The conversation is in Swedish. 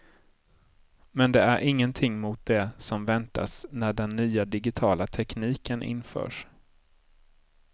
Men det är ingenting mot det som väntas när den nya digitala tekniken införs.